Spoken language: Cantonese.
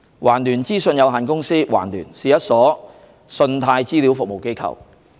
環聯資訊有限公司是一所信貸資料服務機構。